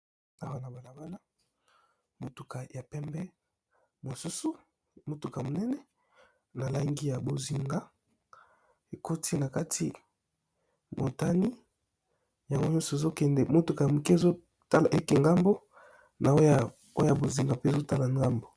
na wana balabala motuka ya pembe mosusu motuka monene na langi ya bozinga ekoti na kati motani yango nyonso ezokende motuka ya moke ezotala eke ngambo na oya bozinga mpe ezotala ngambo